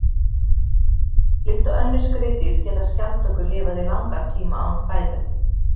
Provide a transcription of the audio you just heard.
Líkt og önnur skriðdýr geta skjaldbökur lifað í langan tíma án fæðu.